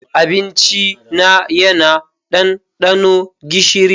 Abincina yana ɗanɗano gishiri.